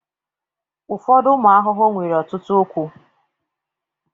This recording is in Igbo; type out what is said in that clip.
ụfọdụ ụmụ ahụhụ nwere ọtụtụ ụkwụ